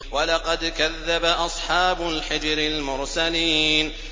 وَلَقَدْ كَذَّبَ أَصْحَابُ الْحِجْرِ الْمُرْسَلِينَ